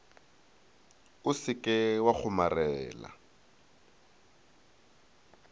o se ke wa kgomarela